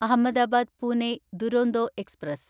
Ahmedabad Pune Duronto express